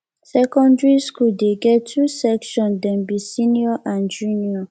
secondary skool dey get two section dem be senior and junior